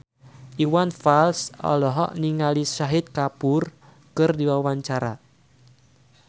Iwan Fals olohok ningali Shahid Kapoor keur diwawancara